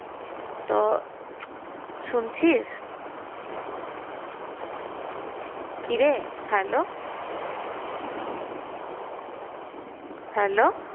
তো শুনছিস? কিরে hello hello?